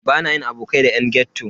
Bana yin abokai da yan ghetto.